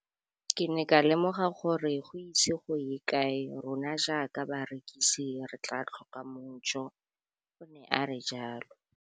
Ke ne ka lemoga gore go ise go ye kae rona jaaka barekise re tla tlhoka mojo, o ne a re jalo.